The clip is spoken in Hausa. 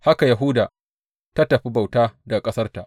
Haka Yahuda ta tafi bauta daga ƙasarta.